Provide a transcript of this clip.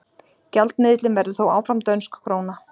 Gjaldmiðillinn verður þó áfram dönsk króna.